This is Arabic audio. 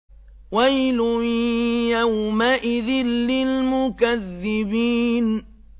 وَيْلٌ يَوْمَئِذٍ لِّلْمُكَذِّبِينَ